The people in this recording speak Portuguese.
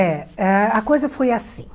É, ah a coisa foi assim.